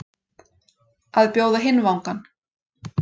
Að bjóða hinn vangann